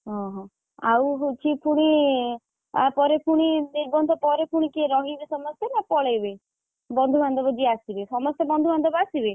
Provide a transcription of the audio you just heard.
ଓହୋଃ ଆଉ ହଉଚି ପୁଣି ଆପରେ ପୁଣି ନିର୍ବନ୍ଧ ପରେ ପୁଣି କିଏ ରହିବେ ସମସ୍ତେ ନା ପଳେଇବେ ବନ୍ଧୁବାନ୍ଧବ ଯିଏ ଆସିବେ ସମସ୍ତେ ବନ୍ଧୁବାନ୍ଧବ ଆସିବେ?